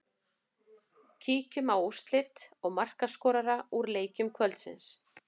Kíkjum á úrslit og markaskorara úr leikjum kvöldsins.